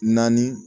Naani